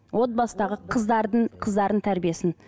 отбасындағы қыздардың қыздардың тәрбиесін